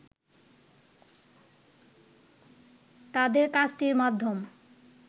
তাদের কাজটির মাধ্যম